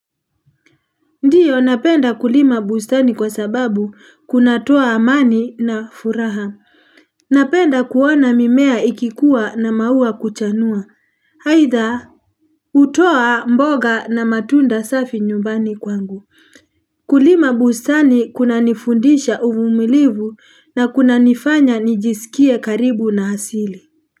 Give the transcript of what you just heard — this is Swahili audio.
Ndio napenda kulima bustani kwa sababu kunatoa amani na furaha. Napenda kuona mimea ikikuwa na maua kuchanua. Aidha hutoa mboga na matunda safi nyumbani kwangu. Kulima bustani kunanifundisha uvumilivu na kunanifanya nijisikie karibu na asili.